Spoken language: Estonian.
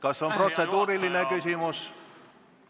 Kas on protseduuriline küsimus?